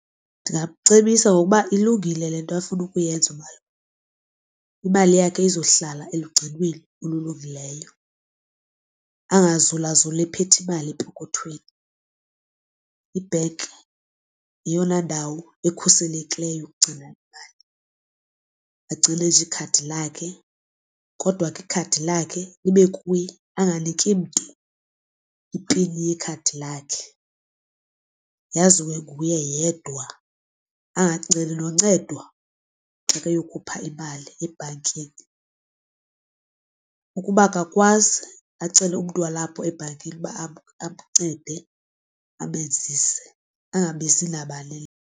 Ndingamcebisa ngokuba ilungile le nto afuna ukuyenza imali yakhe izohlala elugcinweni olulungileyo. Angazulazuli ephethe imali epokothweni ibhenki yeyona ndawo ekhuselekileyo ukugcina imali. Agcine nje ikhadi lakhe kodwa ke ikhadi lakhe libe kuye anganiki mntu ipini yekhadi lakhe, yaziwe nguye yedwa. Angaceli noncedwa xa ke yokhupha imali ebhankini, ukuba akakwazi acele umntu walapho ebhankini uba amncede amenzise angabizi nabani.